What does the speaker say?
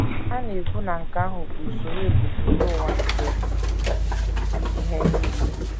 Ha na - ekwu na nke ahụ bụ usoro ebumpụta ụwa nke ihe nile.